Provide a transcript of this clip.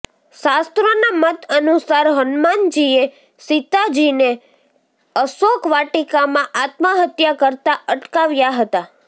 શાસ્ત્રોના મત અનુસાર હનુમાનજીએ સીતાજીને અશોકવાટિકામાં આત્મહત્યા કરતાં અટકાવ્યાં હતાં